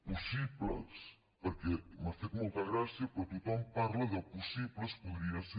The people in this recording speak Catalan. possibles perquè m’ha fet molta gràcia però tothom parla de possibles podria ser